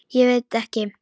Ég veit ekki